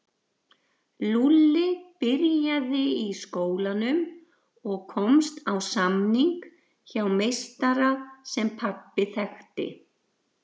Lúlli byrjaði í skólanum og komst á samning hjá meistara sem pabbi þekkti.